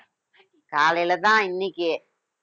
காலையிலதான் இன்னைக்கு